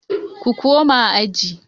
Ku koma aji